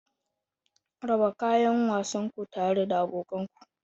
Raba kayan wasan ku tare da abokan ku.